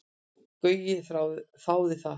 Gaui þáði það.